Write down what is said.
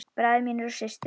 Bræður mínir og systur.